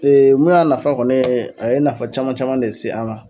mun y'a nafa kɔni ye, a ye nafa caman caman de lase an ma